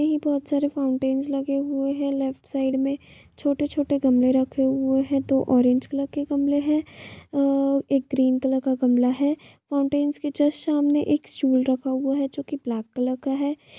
यह बहुत सारे फाउंटेंस रखे हुए हैं लेफ्ट साइड में छोटे-छोटे गमले रखे हुए हैं दो ऑरेंज कलर के गमले हैं और एक ग्रीन कलर का गमला है फाउंटेंस के जस्ट सामने एक स्टूल रखा है जो की ब्लैक कलर का है ।